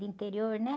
De interior, né?